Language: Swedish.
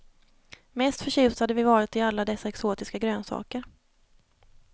Mest förtjusta hade vi varit i alla dessa exotiska grönsaker.